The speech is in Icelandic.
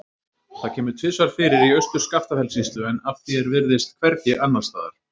Það kemur tvisvar fyrir í Austur-Skaftafellssýslu en að því er virðist hvergi annars staðar.